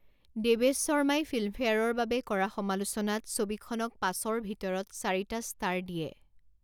দেৱেশ শৰ্মাই 'ফিল্মফেয়াৰ'ৰ বাবে কৰা সমালোচনাত ছবিখনক পাঁচৰ ভিতৰত চাৰিটা ষ্টাৰ দিয়ে।